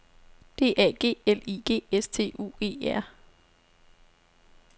D A G L I G S T U E R